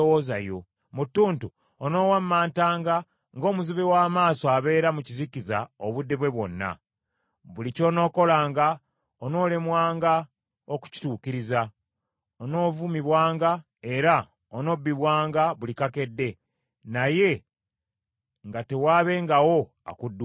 Mu ttuntu onoowammantanga ng’omuzibe w’amaaso abeera mu kizikiza obudde bwe bwonna. Buli ky’onookolanga onoolemwanga okukituukiriza; onoovumibwanga era onoobbibwanga buli kakedde, naye nga tewaabengawo akudduukirira.